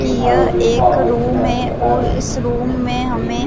की यह एक रूम है और इस रूम में हमें--